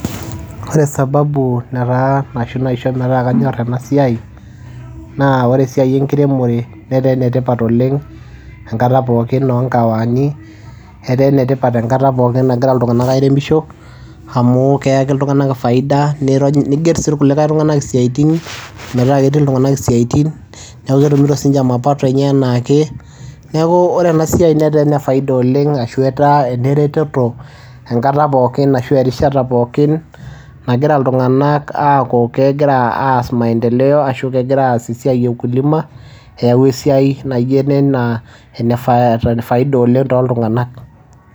Ore sababu nataa ashu naisho metaa kanyorr ena siai naa ore esiai enkiremore netaa enetipata oleng' enkata pookin oo nkahawani etaa enetipata enkata pookin nagira iltung'anak airemisho amu keyaki iltung'anak faida niigerr sii kulie tung'anak isiaitin metaa ketii iltung'anak isiatin neeku ketumito siinche mapato enaake, neeku ore ena siai netaa ene faida oleng' ashu etaa enereteto enkata pookin ashu erishata pookin nagira iltung'anak aaku kegira aas maendeleo ashu kegira aas esiai eukulima eyau esiai naa ijio ena faida oleng' tooltung'anak.